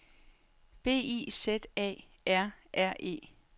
B I Z A R R E